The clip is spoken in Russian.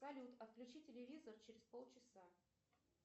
салют отключи телевизор через полчаса